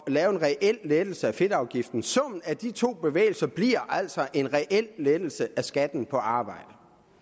lave en reel lettelse af fedtafgiften summen af de to bevægelser bliver altså en reel lettelse af skatten på arbejde